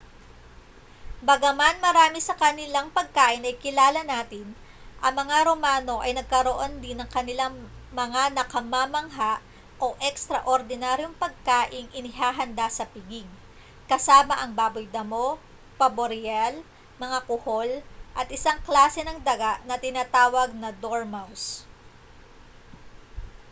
bagaman marami sa kanilang pagkain ay kilala natin ang mga romano ay nagkaroon din ng kanilang mga nakamamangha o ekstraordinaryong pagkaing inihahanda sa piging kasama ang baboy damo paboreal mga kuhol at isang klase ng daga na tinatawag na dormouse